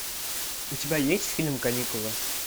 у тебя есть фильм каникулы